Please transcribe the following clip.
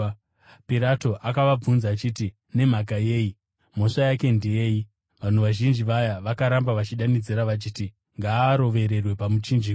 Pirato akabvunzazve achiti, “Nemhaka yei? Mhosva yake ndeyei?” Vanhu vazhinji vaya vakaramba vachidanidzira vachiti, “Ngaarovererwe pamuchinjikwa!”